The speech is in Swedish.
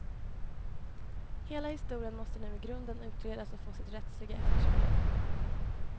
Hela historien måste nu i grunden utredas och få sitt rättsliga efterspel.